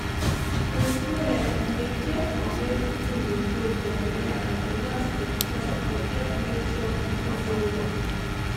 tru tru eh to dey check d wey pikin dey grow for belle as d nurse dem talk dey epp make sure pikin dey ok